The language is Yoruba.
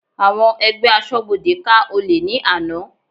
Àwọn ẹgbẹ́ asọ́bodè ká olè ní àná.